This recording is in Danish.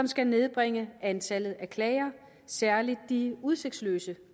skal nedbringe antallet af klager særlig de udsigtsløse